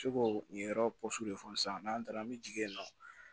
Se k'o nin yɔrɔ de fɔ sisan n'an taara an bɛ jigin yen nɔ